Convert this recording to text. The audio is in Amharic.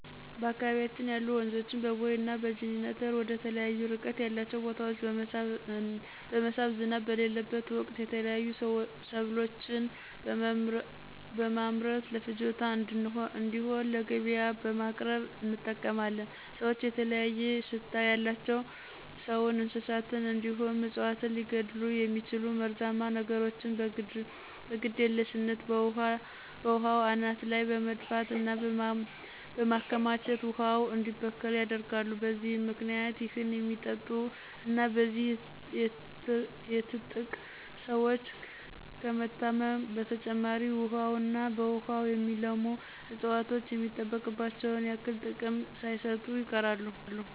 በአካባቢያችን ያሉ ወንዞችን በቦይ እና በጅኒተር ወደተለያዩ እርቀት ያላቸው ቦታወች በመሳብ ዝናብ በሌለበት ወቅት የተለያዩ ሰብሎችን በመምረት ለፍጆታ እንድሆን ለገቢያ በቅርብ እንጠቀማለን። ሰወች የተለያየ ሽታ ያላቸው ሰውን፣ እንስሳትን እንዲሁም እፅዋትን ሊገድሉ የሚችሉ መርዛማ ነገሮችን በግድየልሽነት በውሃው አናት ላይ በመድፋት እና በማከማቸት ውሃው እንዲበከል ያደርጋሉ። በዚህም ምክንያት ይህን የሚጠጡ እና በዚህ የትጥቅ ሰወች ከመታመም በተጨማሪ ውሀውና በውሃው የሚለሙ እፅዋቶች የሚጠበቅባቸውን ያክል ጥቅም ሳይሰጡ ይቀራሉ።